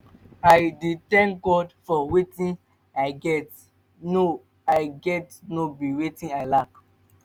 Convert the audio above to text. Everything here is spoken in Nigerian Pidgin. i dey tank god for wetin i get no i get no be wetin i lack